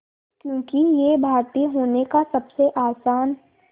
क्योंकि ये भारतीय होने का सबसे आसान